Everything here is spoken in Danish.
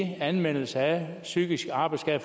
af anmeldelser af psykiske arbejdsskader